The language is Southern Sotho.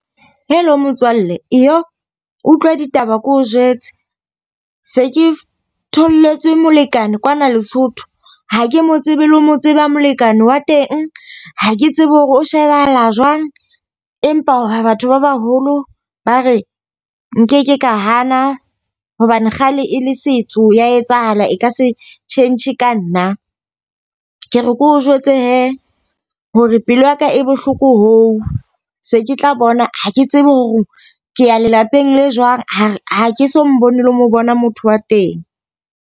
Hello motswalle, Utlwa ditaba keo jwetse. Se ke tholletswe molekane kwana Lesotho. Ha ke mo tsebe le ho mo tseba molekane wa teng. Ha ke tsebe hore o shebahala jwang. Empa batho ba baholo ba re nkeke ka hana hobane kgale e le setso ya etsahala e ka se tjhentjhe ka nna. Ke re keo jwetse he hore pelo yaka e bohloko hoo. Se ke tla bona ha ke tsebe hore ke ya lelapeng le jwang, ha ha ke so mmone le mo bona motho wa teng.